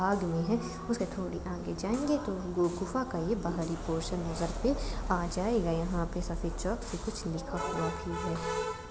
भाग में है उसके सीधे अंदर जाएंगे तो गुफा का ये बाहरी पोर्शन नजर पे आ जायेगा है यहां पे जहां चोक से कुछ लिखा हुआ है।